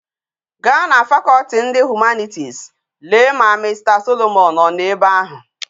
Ga na faculty ndi humanities Lee ka Mr solomon o no ebe ahu